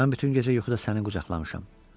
Mən bütün gecə yuxuda səni qucaqlamışam.